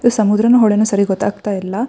ಈ ಸಮುದ್ರನೋ ಹೊಳೇನೋ ಸರಿಯಾಗಿ ಗೊತ್ತಾಗ್ತಾ ಇಲ್ಲ.